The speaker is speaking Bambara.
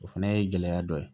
O fana ye gɛlɛya dɔ ye